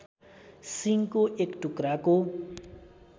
सिङको एक टुक्राको